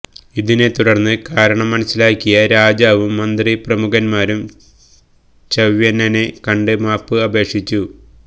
ഇതിനെത്തുടർന്ന് കാരണം മനസ്സിലാക്കിയ രാജാവും മന്ത്രിപ്രമുഖന്മാരും ച്യവനനെ കണ്ട് മാപ്പ് അപേക്ഷിച്ചു